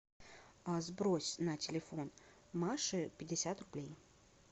а сбрось на телефон маши пятьдесят рублей